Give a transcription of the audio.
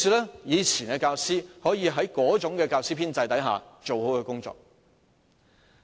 因此，以往教師可以在過往那種教師編制下做好其工作。